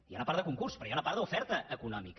hi ha una part de concurs però hi ha una part d’oferta econòmica